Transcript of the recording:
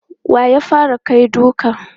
Wa ya fara kai duka?